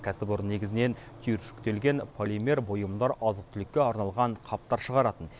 кәсіпорын негізінен түйіршіктелген полимер бұйымдар азық түлікке арналған қаптар шығаратын